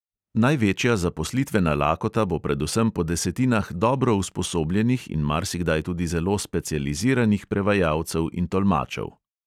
Največja zaposlitvena lakota bo predvsem po desetinah dobro usposobljenih in marsikdaj tudi zelo specializiranih prevajalcev in tolmačev.